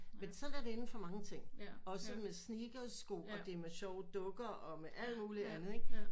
Men sådan er det inden for mange ting også med sneaker sko og det med sjove dukker og med alt muligt andet ikke